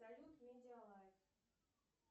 салют медиалайф